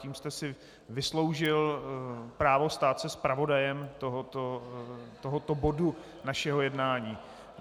Tím jste si vysloužil právo stát se zpravodajem tohoto bodu našeho jednání.